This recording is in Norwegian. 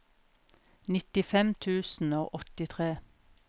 nittifem tusen og åttitre